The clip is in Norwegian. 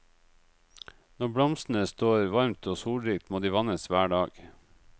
Når blomstene står varmt og solrikt, må de vannes hver dag.